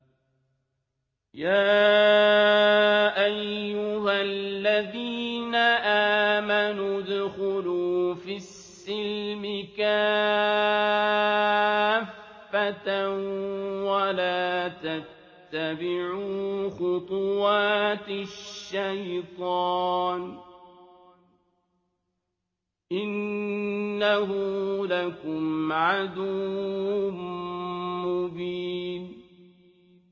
يَا أَيُّهَا الَّذِينَ آمَنُوا ادْخُلُوا فِي السِّلْمِ كَافَّةً وَلَا تَتَّبِعُوا خُطُوَاتِ الشَّيْطَانِ ۚ إِنَّهُ لَكُمْ عَدُوٌّ مُّبِينٌ